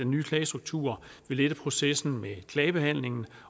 nye klagestruktur vil lette processen med klagebehandlingen